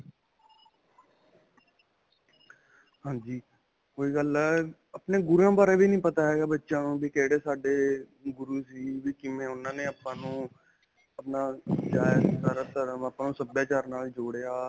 ਹਾਂਜੀ. ਓਹੀ ਗੱਲ ਹੈ, ਆਪਣੇ ਗੁਰੂਆਂ ਬਾਰੇ ਵੀ ਨਹੀਂ ਪਤਾ ਹੈ ਬੱਚਿਆਂ ਨੂੰ ਵੀ ਕਿਹੜੇ ਸਾਡੇ ਅਅਅ ਗੁਰੂ ਸੀ ਵੀ ਕਿਵੇਂ ਉਨ੍ਹਾਂ ਨੇ ਆਪਾਂ ਨੂੰ ਆਪਣਾ ਸਾਰਾ ਧਰਮ ਆਪਾਂ ਨੂੰ ਸਭਿਆਚਾਰ ਨਾਲ ਜੋੜਿਆ.